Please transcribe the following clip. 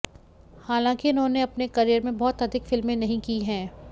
हालांकि उन्होंने अपने करियर में बहुत अधिक फिल्में नहीं की हैं